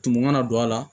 Tumu mana don a la